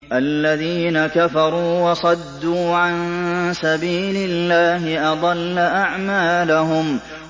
الَّذِينَ كَفَرُوا وَصَدُّوا عَن سَبِيلِ اللَّهِ أَضَلَّ أَعْمَالَهُمْ